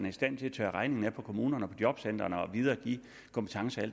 i stand til at tørre regningen af på kommunerne og på jobcentrene og videregive kompetence og